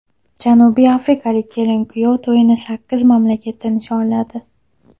Janubiy Afrikalik kelin-kuyov to‘yini sakkiz mamlakatda nishonladi .